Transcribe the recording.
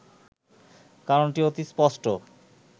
কারণটি অতি স্পষ্ট